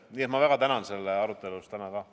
Nii ma väga tänan selle tänase arutelu eest ka.